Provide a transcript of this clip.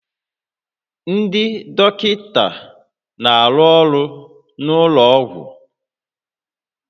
Ndị dọkịta na-arụ ọrụ n'ụlọ ọgwụ